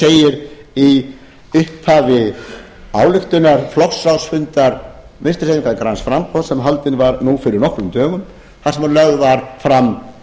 segir í upphafi ályktunar flokksráðsfundar vinstri hreyfingarinnar græns framboðs sem haldinn var nú fyrir nokkrum dögum þar sem lögð var fram